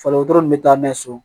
Fali wotoro nin bɛ taa n'a ye so